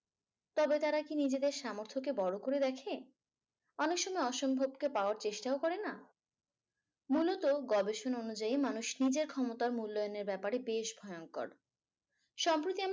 তবে তারা কি নিজেদের সামর্থ্যকে বড় করে দেখে অনেক সময় অসম্ভবকে পাওয়ার চেষ্টাও করে না। মূলত গবেষণা অনুযায়ী মানুষ নিজের ক্ষমতা ও মূল্যায়নের ব্যাপারে বেশ ভয়ংকর। সম্প্রতি